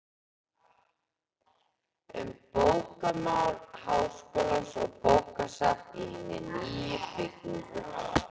Um bókamál Háskólans og bókasafn í hinni nýju byggingu.